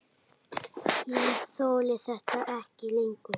Ég þoli þetta ekki lengur.